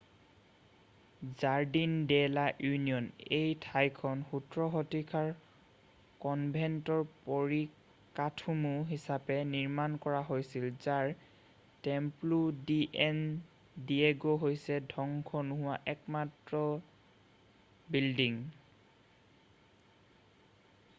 Jardin de la Union এই ঠাইখন 17 শতিকাৰ কনভেণ্টৰ পৰিকাঠামো হিচাপে নিৰ্মান কৰা হৈছিল যাৰ টেম্পলো ডি ছেন ডিয়েগো হৈছে ধ্বংস নোহোৱা একমাত্ৰ বিল্ডিং